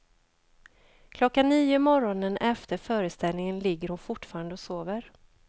Klockan nio morgonen efter föreställningen ligger hon fortfarande och sover.